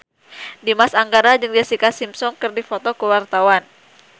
Dimas Anggara jeung Jessica Simpson keur dipoto ku wartawan